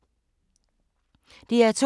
DR2